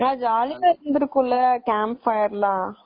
ஆனா ஜாலியா இருந்துருக்கும்ல campfire லாம்.